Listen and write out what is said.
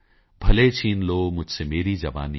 ਭਲੇ ਛੀਨ ਲੋ ਮੁਝਸੇ ਮੇਰੀ ਜਵਾਨੀ